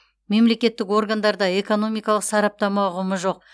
мемлекеттік органдарда экономикалық сараптама ұғымы жоқ